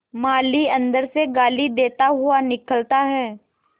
माली अंदर से गाली देता हुआ निकलता है